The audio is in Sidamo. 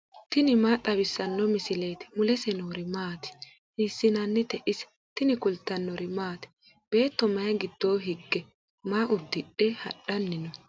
tini maa xawissanno misileeti ? mulese noori maati ? hiissinannite ise ? tini kultannori maati? Beetto mayi giddonni hige? maa udidhe hadhanni noo?